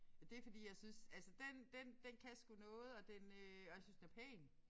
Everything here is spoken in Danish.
Og det fordi jeg synes altså den den den kan sgu noget og den øh og jeg synes den er pæn